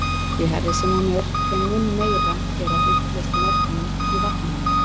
Því hærri sem hún er, þeim mun meira er af uppleystum efnum í vatninu.